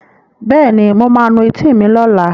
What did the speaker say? Bẹ́ẹ̀ni, mo ma nu etí mi lọ́la